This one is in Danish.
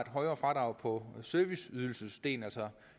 højere fradrag på serviceydelsesdelen altså